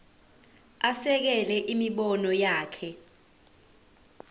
asekele imibono yakhe